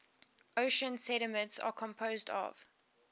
ocean sediments are composed of